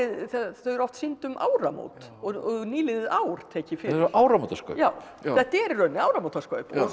þau eru oft sýnd um áramót og nýliðið ár tekið fyrir áramótaskaup já já þetta eru í rauninni áramótaskaup